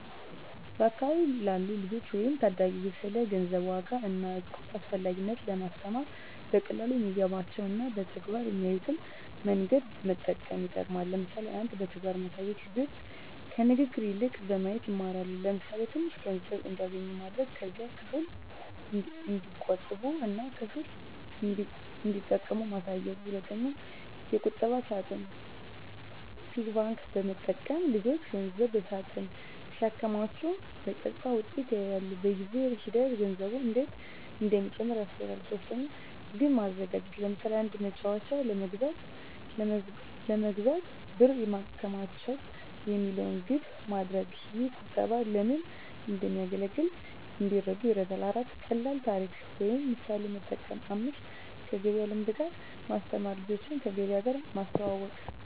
በአካባቢ ላሉ ልጆች ወይም ታዳጊ ስለ ገንዘብ ዋጋ እና ቁጠባ አስፈላጊነት ለማስተማር በቀላሉ የሚገባቸው እና በተግባር የሚያዩትን መንገዶች መጠቀም ይጠቅማል። ለምሳሌ 1. በተግባር ማሳየት ልጆች ከንግግር ይልቅ በማየት ይማራሉ። ለምሳሌ፣ ትንሽ ገንዘብ እንዲያገኙ ማድረግ። ከዚያም ክፍል እንዲቆጥቡ እና ክፍል እንዲጠቀሙ ማሳየት። 2. የቁጠባ ሳጥን (Piggy bank) መጠቀም ልጆች ገንዘብ በሳጥን ሲያከማቹ በቀጥታ ውጤቱን ያያሉ። በጊዜ ሂደት ገንዘቡ እንዴት እንደሚጨምር ያስተውላሉ። 3. ግብ ማዘጋጀት ለምሳሌ፣ “አንድ መጫወቻ ለመግዛት ብር ማከማቸት” የሚለውን ግብ ማድረግ። ይህ ቁጠባ ለምን እንደሚያገለግል እንዲረዱ ይረዳል። 4. ቀላል ታሪክ ወይም ምሳሌ መጠቀም 5. ከገበያ ልምድ ጋር ማስተማር ልጆችን ከገበያ ጋር ማስተዋወቅ።